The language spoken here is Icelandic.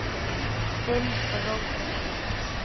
Þinn Róbert Orri.